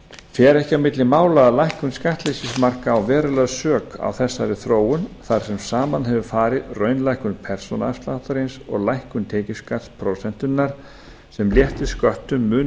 fer ekki á milli mála að lækkun skattleysismarka á verulega sök á þessari þróun þar sem saman hefur farið raunlækkun persónuafsláttarins og lækkun tekjuskattsprósentunnar sem léttir sköttum mun